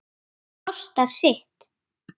Ha- jú, jú stamaði Stjáni.